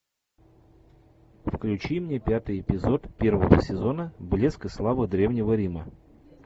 включи мне пятый эпизод первого сезона блеск и слава древнего рима